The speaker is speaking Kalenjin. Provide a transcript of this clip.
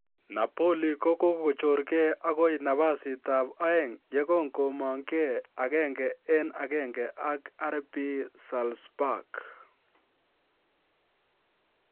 Napoli ko kogochor gee agoi nafasitab aeng yegon komong 1-1 ak RB Salzburg.